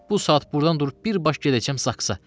Bu saat burdan durub birbaşa gedəcəm Zaksa.